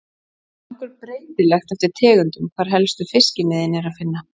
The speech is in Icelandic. Það er nokkuð breytilegt eftir tegundum hvar helstu fiskimiðin er að finna.